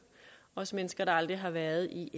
også mennesker der aldrig har været i